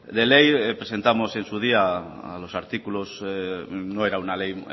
de ley presentamos en su día a los artículos no era una ley